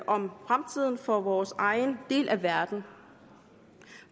om fremtiden for vores egen del af verden